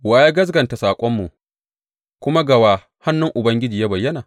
Wa ya gaskata saƙonmu kuma ga wa hannun Ubangiji ya bayyana?